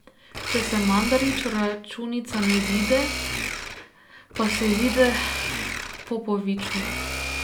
Če se Mandariču računica ne izide, pa se izide Popoviču.